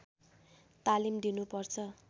तालिम दिनुपर्छ